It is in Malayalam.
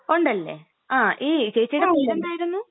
ഉണ്ടല്ലേ..ങാ...ഈ ചേച്ചീടെ പേരെന്തായിരുന്ന്?